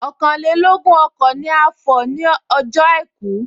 Ọ̀kànlélógún ọkọ̀ ni a fọ̀ nie ọjọ́ àìkú